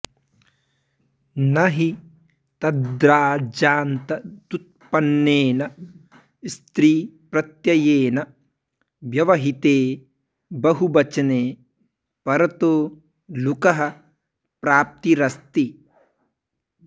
न हि तद्राजान्तदुत्पन्नेन स्त्रीप्रत्ययेन व्यवहिते बहुवचने परतो लुकः प्राप्तिरस्ति